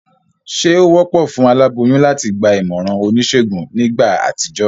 Sé o wópò fún aláboyún láti gba ìmòràn onísègùn nígbà àtijó?